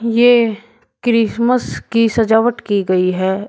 येह क्रिसमस की सजावट की गई है।